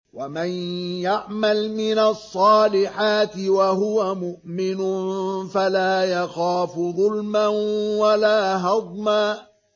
وَمَن يَعْمَلْ مِنَ الصَّالِحَاتِ وَهُوَ مُؤْمِنٌ فَلَا يَخَافُ ظُلْمًا وَلَا هَضْمًا